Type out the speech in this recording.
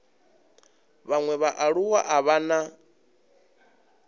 vhaṅwe vhaaluwa a vha na